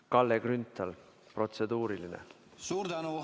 Kalle Grünthal, protseduuriline küsimus.